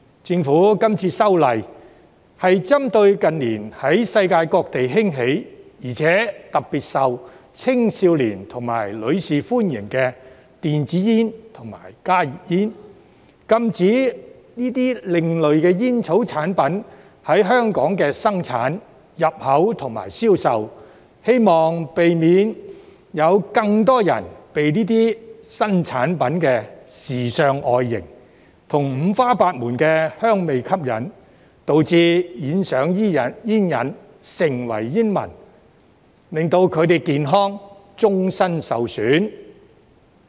政府這次修例，是針對近年在世界各地興起，而且特別受青少年和女士歡迎的電子煙及加熱煙，禁止這些另類吸煙產品在香港生產、入口和銷售，希望避免有更多人被這些新產品的時尚外型，以及五花八門的香味吸引，導致染上煙癮，成為煙民，令他們的健康終身受損。